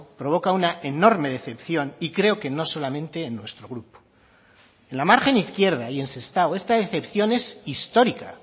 provoca una enorme decepción y creo que no solamente en nuestro grupo en la margen izquierda y en sestao esta decepción es histórica